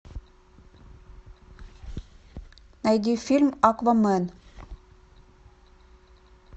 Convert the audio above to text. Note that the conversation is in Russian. найди фильм аквамен